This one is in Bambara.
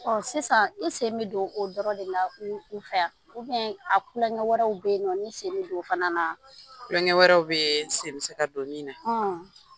sisan i sen bɛ don o dɔrɔn de na u u fɛ a ? a kulonkɛ wɛrɛw bɛ yen nɔ n'i sen don o fana na? Tulonkɛ wɛrɛw bɛ yen , sen be se ka don min na.